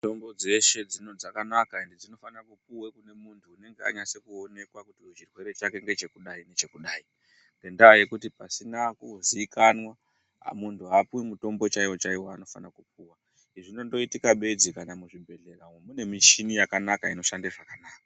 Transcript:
Mitombo dzeshe dzakanaka ende dzinofane kupuwa kunemuntu unenge anasa kuonekwa kuti chirwere chake ngeche kudai nekudai, ngendaa yekuti pasina kuzikanwa, muntu haapiwi mutombo chaiwo chaiwo waanofane kupuwa. Zvinondoitika bedzi kana muzvibhedhlera umu mune michini inoshanda zvakanaka.